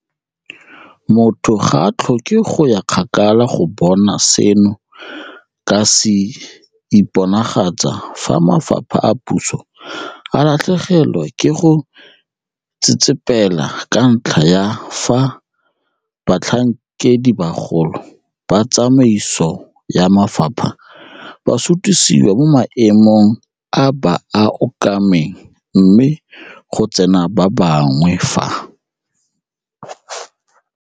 Motho ga a tlhoke go ya kgakala go bona seno ka se iponagatsa fa mafapha a puso a latlhegelwa ke go tsetsepela ka ntlha ya fa batlhankedibagolo ba tsamaiso ya mafapha ba sutisiwa mo maemong a ba a okameng mme go tsena ba bangwe fa